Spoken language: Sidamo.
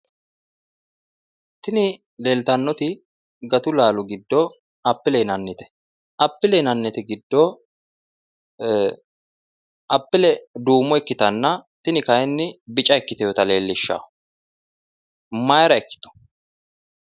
Tini leeltannoti gatu laalo giddo appile yinannite appile yinannite giddo ee appile duumo ikkitanna tini kayiinni bicca ikkitinota leellishshanno mayira ikkitu?